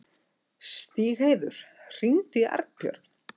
Stígheiður, hringdu í Arnbjörn.